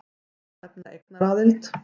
Má þar nefna eignaraðild.